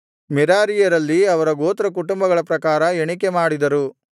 ಮೆರಾರೀಯರಲ್ಲಿ ಅವರ ಗೋತ್ರಕುಟುಂಬಗಳ ಪ್ರಕಾರ ಎಣಿಕೆ ಮಾಡಿದರು